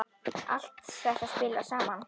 Allt þetta spilar saman.